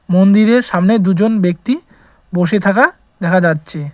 মন্দিরের সামনে দুজন ব্যক্তি বসে থাকা দেখা যাচ্ছে।